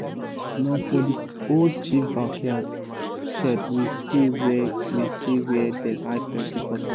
na for the old chief backyard shed we see where we see where dem hide plenty cutlass